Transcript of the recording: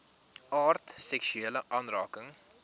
aard seksuele aanranding